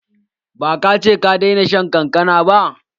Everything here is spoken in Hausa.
Ba ka ce ka daina shan kankana ba?